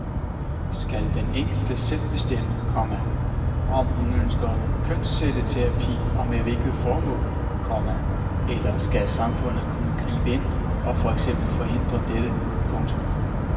Skal den enkelte selv bestemme, komma om hun ønsker kønscelleterapi og med hvilket formål, komma eller skal samfundet kunne gribe ind og for eksempel forhindre dette. punktum